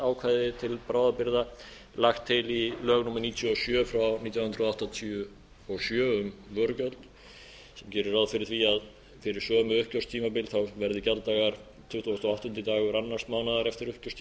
ákvæði til bráðabirgða lagt til í lögum númer níutíu og sjö nítján hundruð áttatíu og sjö um vörugjöld sem gerir ráð fyrir því að fyrir sömu uppgjörstímabil verði gjalddagar tuttugasta og áttundi dagur annars mánaðar eftir uppgjörstímabil